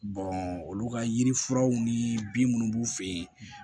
olu ka yirifuraw ni bin minnu b'u fɛ yen